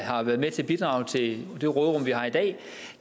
har været med til at bidrage til det råderum vi har i dag